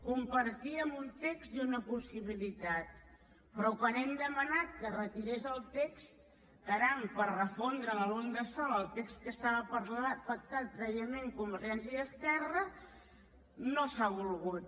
compartíem un text i una possibilitat però quan hem demanat que es retirés el text caram per refondre’l en un de sol el text que estava pactat prèviament convergència i esquerra no s’ha volgut